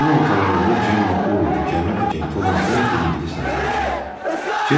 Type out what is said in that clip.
Fevralın ortalarında Cemma Ovoda gəmi agenti olan gənc bir ingilislə tanış elədi.